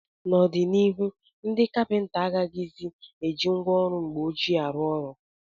N'obianihu, ndị kapịnta agaghịzi eji ngwa ọrụ mgbe ọchịe arụ ọrụ.